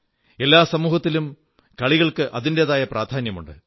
എല്ലാ സമൂഹത്തിലും കളികൾക്ക് അതിന്റേതായ പ്രാധാന്യമുണ്ട്